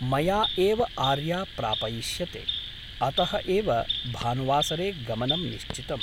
मया एव आर्या प्रापयिष्यते । अतः एव भानुवासरे गमनं निश्चितम् ।